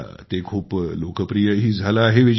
आता ते खूप लोकप्रियही झालं आहे